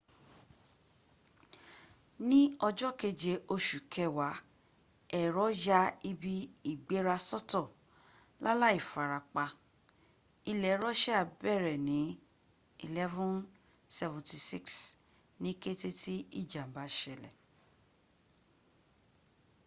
ní ọjọ́ keje osù kẹwàá ẹ̀rọ ya ibi ìgbéra sọ́tọ lálàì farapa. ilẹ̀ russia bẹ̀rẹ̀ ní ii-76s ní kéte tí ìjàm̀bá sẹlẹ̀